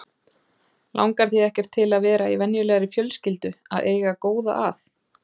Langar þig ekkert til að vera í venjulegri fjölskyldu að eiga góða að?